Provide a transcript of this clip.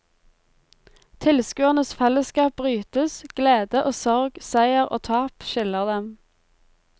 Tilskuernes fellesskap brytes, glede og sorg, seier og tap skiller dem.